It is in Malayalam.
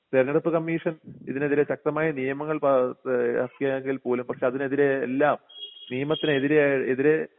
തിരഞ്ഞെടുപ്പ് കമ്മീഷൻ ഇതിനെതിരെ ശക്തമായ നിയമങ്ങൾ പാ എ എറക്കിയെങ്കിൽ പോലും പക്ഷേ അതിനെതിരെ എല്ലാം നിയമത്തിനെതിരായി എതിരെ